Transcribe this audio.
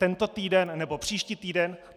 Tento týden nebo příští týden?